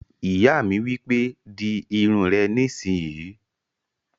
Ìyá mi wípé, "Di irun rẹ nísìínyi!"